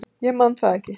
Ég man það ekki.